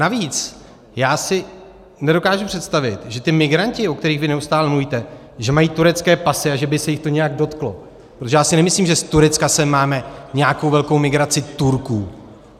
Navíc, já si nedokážu představit, že ti migranti, o kterých vy neustále mluvíte, že mají turecké pasy a že by se jich to nějak dotklo, protože já si nemyslím, že z Turecka sem máme nějakou velkou migraci Turků.